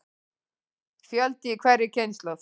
Fjöldi í hverri kynslóð.